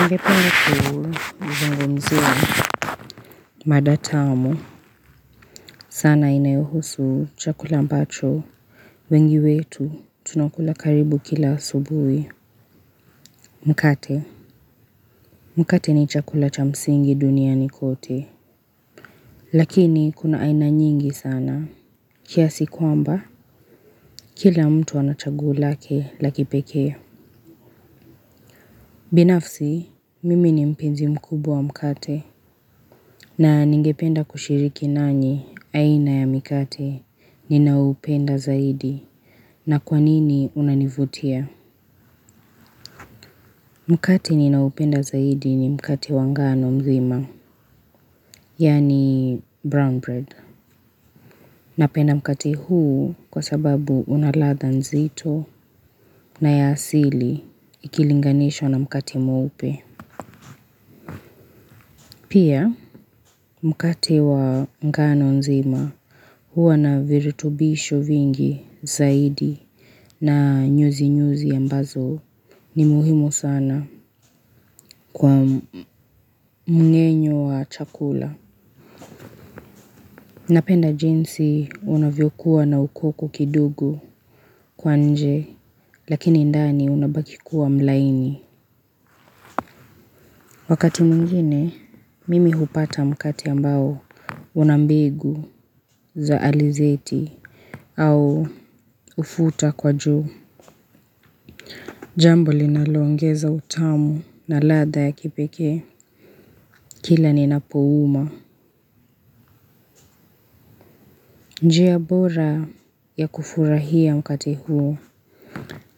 Ngependa kuu mzungumziwa. Mada tamu. Sana inayohusu chakula ambacho. Wengi wetu tunakula karibu kila asubui. Mkate. Mkate ni chakula cha msingi duniani kote. Lakini kuna aina nyingi sana. Kiasi kwamba. Kila mtu anachaguo lake la kipekee. Binafsi. Mimi ni mpenzi mkubwa wa mkate. Na ningependa kushiriki nanyi aina ya mikate. Ninao upenda zaidi. Na kwanini unanivutia? Mukati ninaoupenda zaidi ni mkati wa ngano mzima. Yani brown bread. Napenda mkati huu kwa sababu una ladha nzito na ya asili ikilinganishwa na mkati mweupe. Pia mkati wa ngano nzima huwa na viritubisho vingi zaidi na nyuzi nyuzi ambazo ni muhimu sana. Kwa mungenyo wa chakula. Napenda jinsi unavyokuwa na ukoku kidulogo kwa nje. Lakini ndani unabaki kuwa mlaini. Wakati mwingine mimi hupata mkate ambao una mbegu za alizeti au ufuta kwa juu. Jambo linalo ongeza utamu na latha ya kipekee. Kila ni napouuma. Njia bora ya kufurahia mkate huu.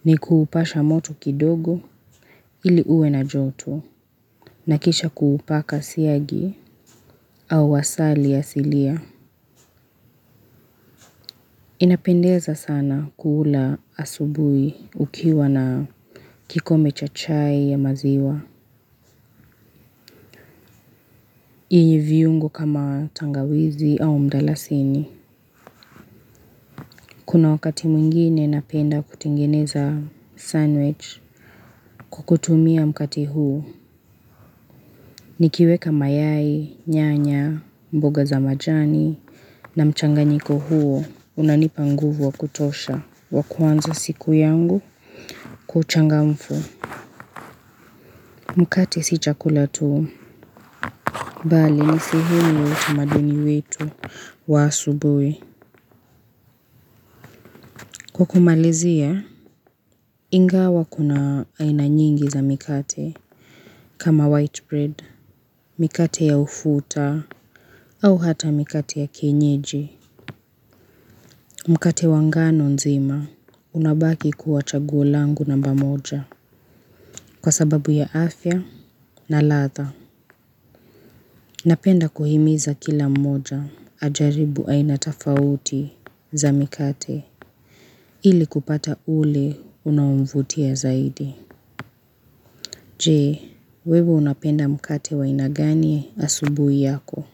Ni kuupasha moto kidogo ili ue na joto. Nakisha kuupaka siagi au asali ya asilia. Inapendeza sana kuula asubui ukiwa na kikombe cha chai ya maziwa. Yenye viungo kama tangawizi au mdalasini. Kuna wakati mwingine napenda kutengeneza sandwich kwa kutumia mkate huu. Nikiweka mayai nyanya mboga za majani. Na mchanganyiko huo unanipa nguvu wa kutosha wa kuanza siku yangu kwa uchangamfu. Mkate si chakula tuu bali ni sihini watu madini wetu wa subwe kwa kumalizia ingawa kuna aina nyingi za mikate kama white bread. Mikate ya ufuta au hata mikate ya kienyeji. Mkate wa ngano nzima unabaki kuwa chaguo langu namba moja kwa sababu ya afya na ladha. Napenda kuhimiza kila mmoja ajaribu aina tafauti za mikate ili kupata ule unamvutia zaidi. Je, wewe unapenda mkate wa aina gani asubui yako?